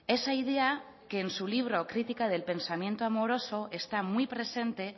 esa idea que en su libro crítica del pensamiento amoroso está muy presente